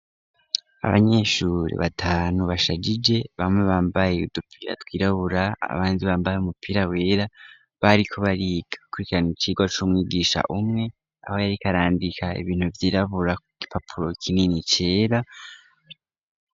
Abanyeshuri batanu bashajije, bamwe bambaye udupira twirabura, abandi bambaye umupira wera, bariko bariga bakurikirana icigwa c'umwigisha umwe, aho yariko arandika ibintu vyirabura ku gipapuro kinini cera.